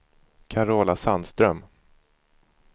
Carola Sandström